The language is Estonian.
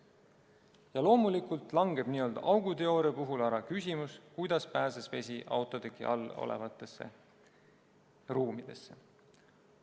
Ja loomulikult langeb n-ö auguteooria puhul ära küsimus, kuidas pääses vesi autoteki all olevatesse ruumidesse.